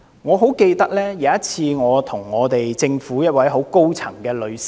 我曾經向政府一位很高層的女士......